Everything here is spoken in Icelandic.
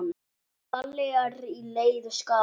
Palli er í leiðu skapi.